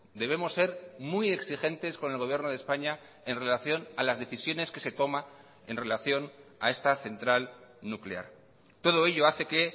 debemos ser muy exigentes con el gobierno de españa en relación a las decisiones que se toma en relación a esta central nuclear todo ello hace que